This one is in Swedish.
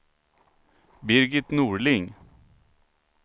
Birgit Norling